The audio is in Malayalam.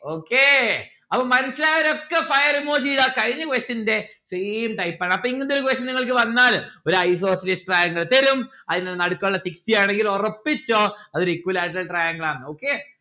okay അപ്പം മനസ്സിലായവരൊക്കെ fire emoji ഇതാ കഴിഞ്ഞ question ന്റെ same type ആണ് അപ്പോ ഇങ്ങനത്തെ ഒരു question നിങ്ങൾക്ക് വന്നാല് ഒരു isocelous triangle തരും ആയിൽന്നു നടക്കുള്ള ആണെങ്കിൽ ഒറപ്പിച്ചോ അതൊരു equilateral triangle ആണ് okay